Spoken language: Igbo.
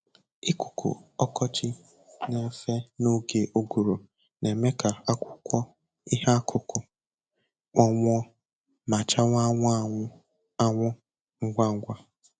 Ikuku ọkọchị na-efe n'oge ụguru na-eme ka akwụkwọ ihe akụkụ kpọnwụọ ma chawa anwụ anwụ anwụ ngwa ngwa.